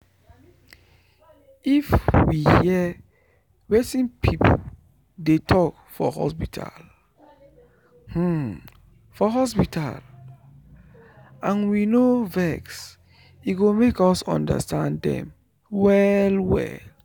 if we hear wetin people dey talk for hospital for hospital and we no vex e go make us understand dem well well